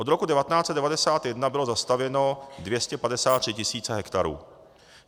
Od roku 1991 bylo zastavěno 253 tisíc hektarů.